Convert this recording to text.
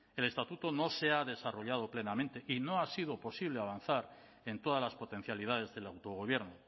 el estatuto no se ha desarrollado plenamente y no ha sido posible avanzar en todas las potencialidades del autogobierno